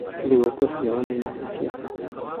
Thigũkũ cia ũmenyo nĩ cia bata.